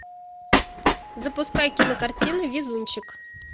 запускай кинокартины везунчик